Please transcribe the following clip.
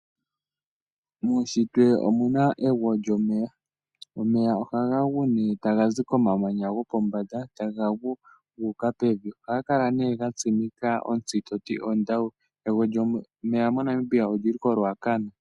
Muushitwe omuna egwo lyomeya. Omeya ohaga gu nee taga zi komamanya gopombanda, taga gu, gu uka pevi. Ohaga kala nee ga tsimika ontsi toti ondawu. Egwo lyomeya MoNamibia oli li ko Ruacana.